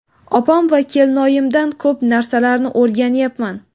Opam va kelinoyimdan ko‘p narsalarni o‘rganyapman.